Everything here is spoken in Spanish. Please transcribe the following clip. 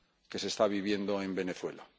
que se está viviendo en Venezuela.